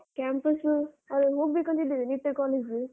Campus , ಅದೇ ಹೋಗ್ಬೇಕಂತ ಇದ್ದೇನೆ ನಿಟ್ಟೆ college ಗೆ.